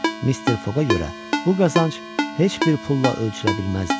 Mister Foqqa görə bu qazanc heç bir pulla ölçülə bilməzdi.